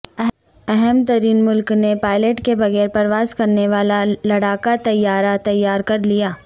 اہم ترین ملک نے پائلٹ کے بغیر پرواز کرنے والا لڑاکا طیارہ تیار کر لیا